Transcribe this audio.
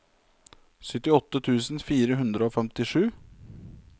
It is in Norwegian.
syttiåtte tusen fire hundre og femtisju